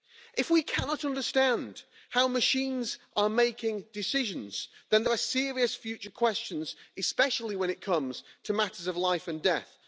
If we cannot understand how machines are making decisions then there are serious future questions, especially when it comes to matters of life and death.